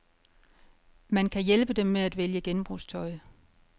Man kan hjælpe dem med at vælge genbrugstøj.